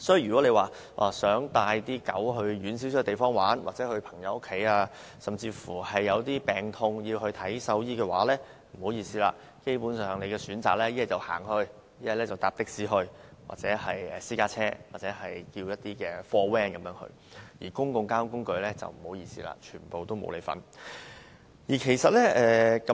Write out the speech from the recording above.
如果大家想帶狗隻到較遠的地方玩耍，又或到朋友家中，甚至有病時帶牠看獸醫，不好意思，基本上狗主只能步行前往，或乘搭的士、私家車或小型貨車，至於乘搭公共交通工具，不好意思，全部不可以。